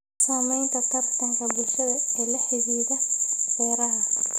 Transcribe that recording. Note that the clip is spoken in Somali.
Saamaynta tartanka bulshada ee la xidhiidha beeraha.